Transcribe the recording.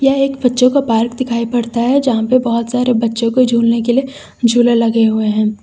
यह एक बच्चों का पार्क दिखाई पड़ता है यहां पे बहुत सारे बच्चों को झूलने के लिए झूले लगे हुए हैं।